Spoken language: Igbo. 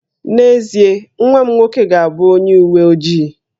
N'ezie, nwa m nwoke ga-abụ onye uwe ojii